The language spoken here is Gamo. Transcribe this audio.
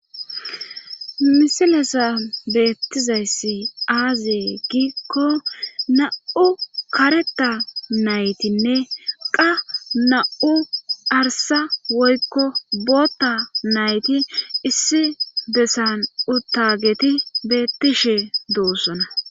misilesa beettizayssi aazee giikko na7u kareta naytinne qa na7u arsa woykko bootta nayti issi bessan uttageti beettishe doossona